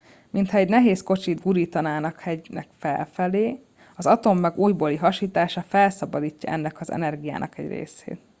mintha egy nehéz kocsit gurítanánk hegynek felfelé az atommag újbóli hasítása felszabadítja ennek az energiának egy részét